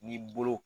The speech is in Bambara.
Ni bolo